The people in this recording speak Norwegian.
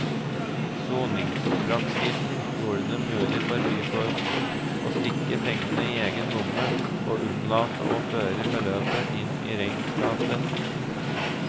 Soningspraksisen gjorde det mulig for byfogden å stikke pengene i egen lomme og unnlate å føre beløpet inn i regnskapet.